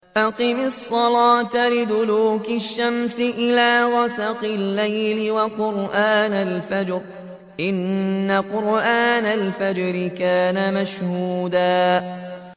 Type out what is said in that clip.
أَقِمِ الصَّلَاةَ لِدُلُوكِ الشَّمْسِ إِلَىٰ غَسَقِ اللَّيْلِ وَقُرْآنَ الْفَجْرِ ۖ إِنَّ قُرْآنَ الْفَجْرِ كَانَ مَشْهُودًا